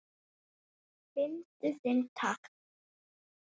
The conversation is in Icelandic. Fyndu þinn takt